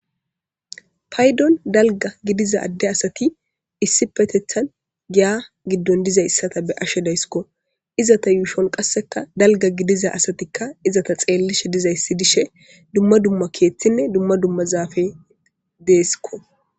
Paydon dalga gidiza ade asati issipetetan giya gidon dizaysata be'ashe daysko izeta yuushoni qaseka dalga gidiza asatika izeta xelishe dizaysi dishe dumma dumma keethinne dumma dumma zaafey desiko.